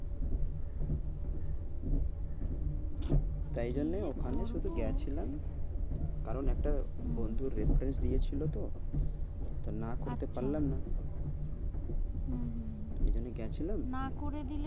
তাই জন্য ওখানে শুধু গেছিলাম কারণ একটা বন্ধুর reference দিয়েছিল তো তো না কইতে পারলাম না, হম হম হম ঐজন্যে গেছিলাম, না করে দিলে